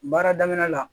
Baara daminɛ la